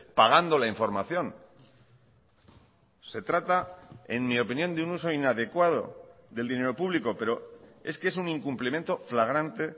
pagando la información se trata en mi opinión de un uso inadecuado del dinero público pero es que es un incumplimiento flagrante